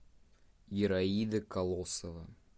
ираида колосова